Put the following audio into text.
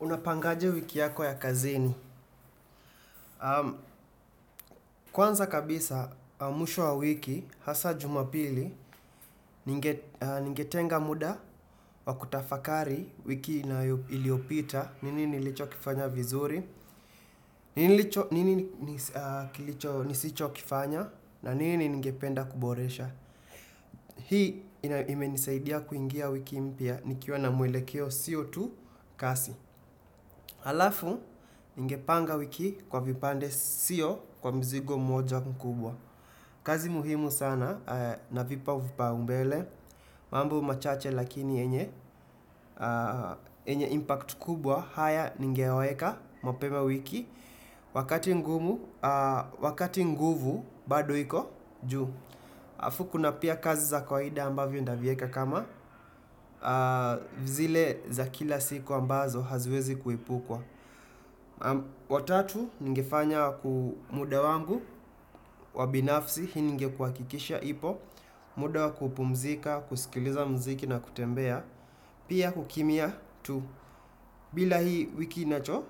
Unapangaje wiki yako ya kazini. Kwanza kabisa, mwisho wa wiki, hasa jumapili, ningetenga muda wa kutafakari wiki iliopita, nini nilicho kifanya vizuri, nini nisicho kifanya, na nini ningependa kuboresha. Hii imenisaidia kuingia wiki mpya nikiwa na mwelekeo sio tu kazi. Halafu ningepanga wiki kwa vipande sio kwa mzigo mmoja mkubwa. Kazi muhimu sana na vipa vipao mbele, mambo machache lakini yenye impacti kubwa, haya ningeyaweka mapema wiki, wakati mwingi. Wakati nguvu bado hiko juu. Alfu kuna pia kazi za kwaida ambavyo nitavieka kama zile za kila siku ambazo haziwezi kuipukwa. Watatu ningefanya kwa muda wangu wa binafsi, ili ngekuakikisha ipo, muda wa kupumzika, kusikiliza mziki na kutembea, pia kukimya tu. Bila hii wiki inacho,